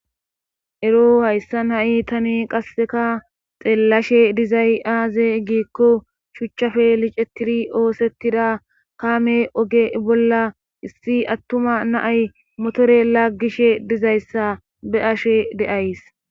ero hayssan ha7i tani qasseka xeellashe dizay aaze giikko shuchchafe licetiri oosettida kaame oge bolla issi attuma naay motore laggishe dizayssa be ashe de7ays